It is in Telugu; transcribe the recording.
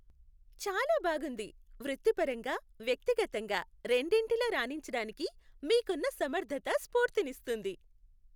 చాలా బాగుంది. వృత్తిపరంగా, వ్యక్తిగతంగా రెండిటిలో రాణించటానికి మీకున్న సమర్ధత స్ఫూర్తినిస్తుంది.